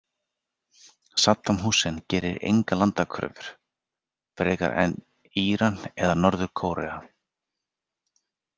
Saddam Hussein gerir engar landakröfur, frekar en Íran eða Norður- Kórea.